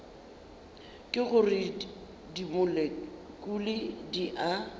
ke gore dimolekule di a